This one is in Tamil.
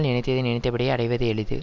நினைத்ததை நினைத்தபடியே அடைவது எளிது